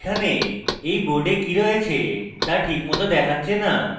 এখানে এই board কি রয়েছে তা ঠিক মত দেখাচ্ছে না